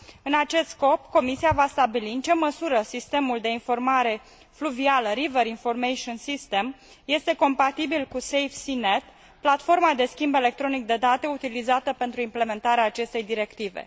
În acest scop, Comisia va stabili în ce măsură sistemul de informare fluvială River Information System este compatibil cu SafeSeaNet, platforma de schimb electronic de date utilizată pentru implementarea acestei directive.